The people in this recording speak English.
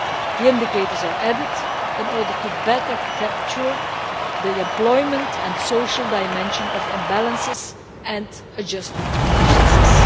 The indicators are included in order better to capture the employment and social dimension of imbalances and adjustment processes.